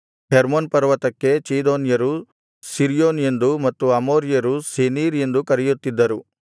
Hermon ಪರ್ವತಕ್ಕೆ ಚೀದೋನ್ಯರು Sirion ಎಂದೂ ಮತ್ತು ಅಮೋರಿಯರು ಸೆನೀರ್ ಎಂದೂ ಕರೆಯುತ್ತಿದ್ದರು